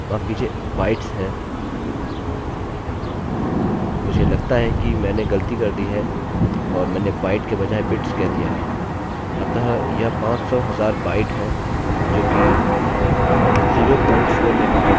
अतः यह पाँच सौ हजार बाइट है जो कि 0 प्वॉइंट 4 मेगाबाइट के समान है मैंने अभी के लिए केवल हाफ मेगाबाइट लिखूँगा